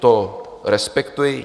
To respektuji.